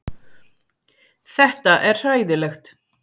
Þetta er hræðilegt